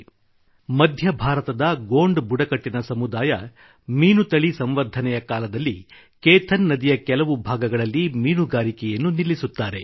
• ಮಧ್ಯ ಭಾರತದ ಗೊಂಡ ಬುಡಕಟ್ಟಿನ ಸಮುದಾಯ ಮೀನು ತಳಿ ಸಂವರ್ಧನೆಯ ಬ್ರೀಡಿಂಗ್ ಸೀಸನ್ ಕಾಲದಲ್ಲಿ ಕೇಥನ್ ನದಿಯ ಕೆಲವು ಭಾಗಗಳಲ್ಲಿ ಮೀನುಗಾರಿಕೆಯನ್ನು ನಿಲ್ಲಿಸುತ್ತಾರೆ